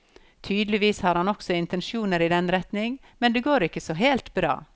Tydeligvis har han også intensjoner i den retning, men det går ikke så helt bra.